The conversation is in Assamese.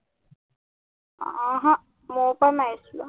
ওহো, মোৰ পৰা মাৰিছিলো